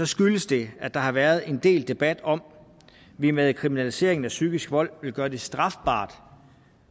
skyldes det at der har været en del debat om at vi med kriminaliseringen af psykisk vold vil gøre det strafbart